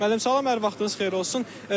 Müəllim, salam, hər vaxtınız xeyir olsun.